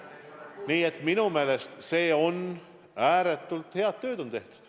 Nii et minu meelest ääretult head tööd on tehtud.